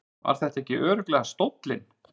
Var þetta ekki örugglega stóllinn?